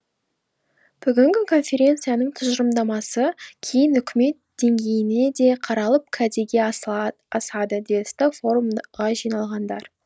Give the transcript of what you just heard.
бүгінгі конференцияның тұжырымдамасы кейін үкімет деңгейінде қаралып кәдеге асады десті форумға жиналғандар